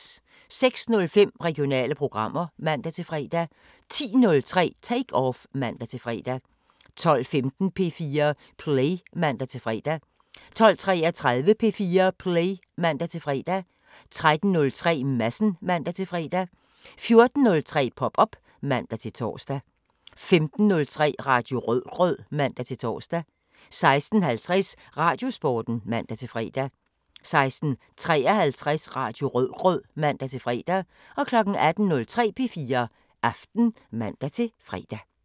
06:05: Regionale programmer (man-fre) 10:03: Take Off (man-fre) 12:15: P4 Play (man-fre) 12:33: P4 Play (man-fre) 13:03: Madsen (man-fre) 14:03: Pop op (man-tor) 15:03: Radio Rødgrød (man-tor) 16:50: Radiosporten (man-fre) 16:53: Radio Rødgrød (man-fre) 18:03: P4 Aften (man-fre)